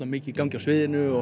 mikið í gangi á sviðinu og